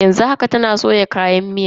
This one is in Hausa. Yanzu haka, tana soya kayan miyan sama sama.